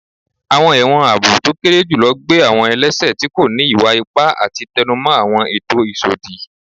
Awọn ẹwọn aabo to kere julọ gbe awọn ẹlẹṣẹ ti ko ni iwa-ipa ati tẹnumọ awọn eto isodi